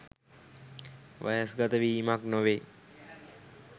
වයස්ගත වීමක් නොවෙයි.